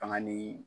Fanga ni